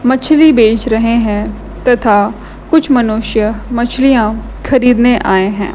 मछली बेच रहे हैं तथा कुछ मनुष्य मछलियां खरीदने आए हैं।